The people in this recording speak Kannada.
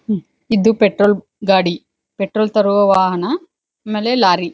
ಇದು ಪೆಟ್ರೋಲ್ ಗಾಡಿ ಪೆಟ್ರೋಲ್ ತರುವ ವಾಹನ ಆಮೇಲೆ ಲಾರಿ--